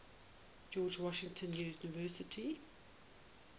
george washington university